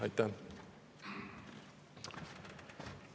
Aitäh!